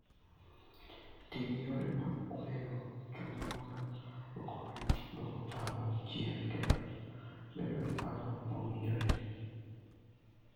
Ti gi yore mag kweyo chuny mondo okonyi duoko parruok chien kendo bedo gi paro mowinjore.